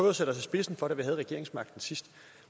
at sætte os i spidsen for da vi havde regeringsmagten sidst